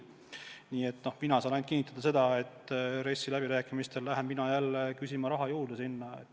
Nii et mina saan kinnitada ainult seda, et RES-i läbirääkimistele lähen ma jälle raha juurde küsima.